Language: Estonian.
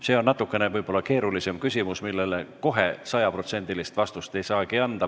See on võib-olla natukene keerulisem küsimus, millele kohe sajaprotsendilist vastust ei saagi anda.